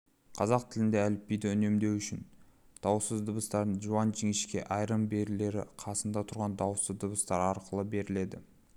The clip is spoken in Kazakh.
қазақ тілінде әліпбиді үнемдеу үшін дауыссыз дыбыстардың жуан-жіңішке айырым белгілері қасында тұрған дауысты дыбыстар арқылы беріледі